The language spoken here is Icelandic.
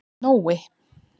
Nói